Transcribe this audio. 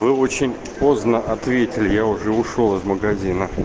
вы очень поздно ответили я уже ушёл из магазина